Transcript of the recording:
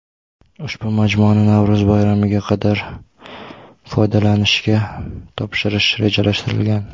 Ushbu majmuani Navro‘z bayramiga qadar foydalanishga topshirish rejalashtirilgan.